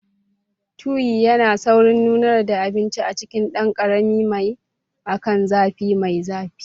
Tuyi yana saurin nunar da abinci a cikin ɗan ƙaramin mai akan zafi mai zafi.